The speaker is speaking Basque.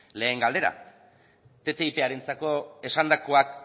lehen galdera ttiparentzako esandakoak